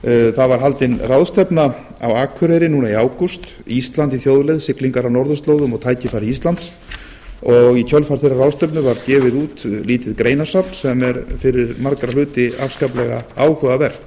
það var haldin ráðstefna á akureyri núna í ágúst ísland í þjóðleið siglingar á norðurslóðum og tækifæri íslands og í kjölfar þeirrar ráðstefnu var gefið út mikið greinasafn sem er fyrir marga hluti afskaplega áhugavert